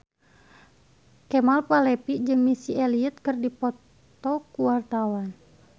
Kemal Palevi jeung Missy Elliott keur dipoto ku wartawan